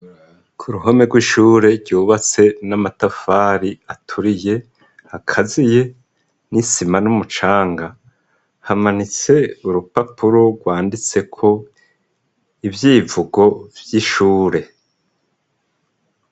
Ku ruhome rw'ishure ryubatse n'amatafari aturiye akaziye n'isima n'umucanga, hamanitse urupapuro rwanditseko ivyivugo vy'ishure.